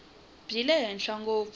bya le henhla ngopfu